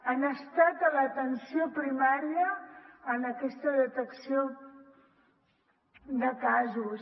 han estat a l’atenció primària en aquesta detecció de casos